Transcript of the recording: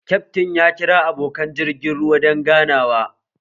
Kyaftin ya kira abokan jirgin ruwan don ganawa